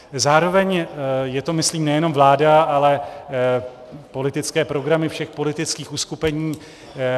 Zároveň je to myslím nejenom vláda, ale politické programy všech politických uskupení.